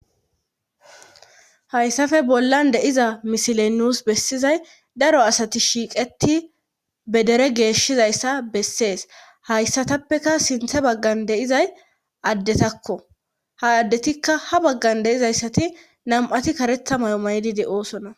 hayssafe bollan de'iza misiley nus bessizay daro asati shiiqeti bedere geeshizayssa bessees hayssatappeka sinthe baggan de'izay addetakko ha addetikka ha baggan deizayssati nam'ati karetha mayo maydi de'oosona